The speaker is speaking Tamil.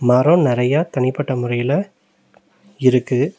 மரொ நறைய தனிப்பட்ட முறையில இருக்கு.